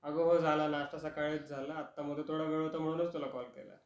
अग हो झाला नाश्ता सकाळीच झाला, आता मध्ये थोडा वेळ होता म्हणूनच तुला कॉल केला.